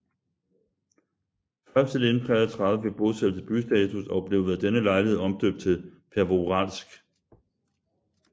Først i 1933 fik bosættelse bystatus og blev ved denne lejlighed omdøbt til Pervouralsk